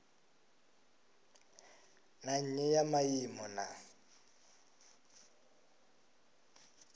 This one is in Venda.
na nnyi ya maimo na